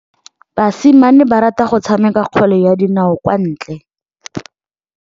Basimane ba rata go tshameka kgwele ya dinaô kwa ntle.